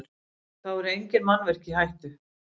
Þá eru engin mannvirki í hættu